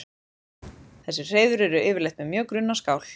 Þessi hreiður eru yfirleitt með mjög grunna skál.